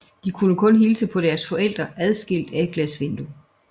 De kunne kun hilse på deres forældre adskilt af et glasvindue